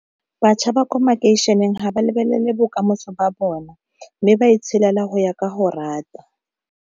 Batjha ba kwa makeišeneng ga ba lebelele bokamoso ba bona, mme ba e tshela go ya ka go rata.